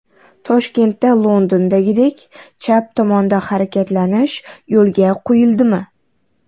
Toshkentda Londondagidek chap tomonda harakatlanish yo‘lga qo‘yildimi?.